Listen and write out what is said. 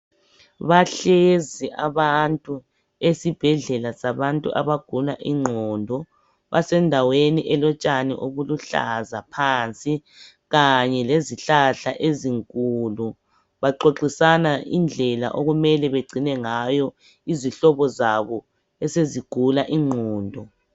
Bahlezi abantu esibhedlela sabantu abagula ingqondo, besendaweni elotshani obuluhlaza phansi kanye lezihlahla ezinkulu, baxoxisana indlela okumele begcine ngayo izihlobo zabo esezigula ingqondo.